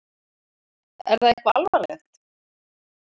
Er það eitthvað alvarlegt?